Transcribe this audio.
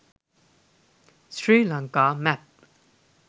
srilanka map